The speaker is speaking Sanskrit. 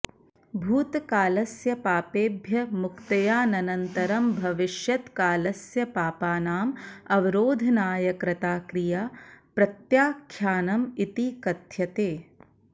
भूतकालस्य पापेभ्यः मुक्त्यानन्तरं भविष्यत्कालस्य पापानाम् अवरोधनाय कृता क्रिया प्रत्याख्यानम् इति कथ्यते